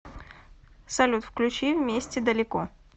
салют включи вместе далеко